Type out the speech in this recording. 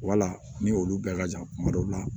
Wala ni olu bɛɛ ka jan kuma dɔw la